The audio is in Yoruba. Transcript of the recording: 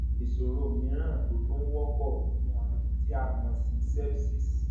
ìṣòro mìíràn tó tún wọpọ ni àrùn tí a mọ sí sepsis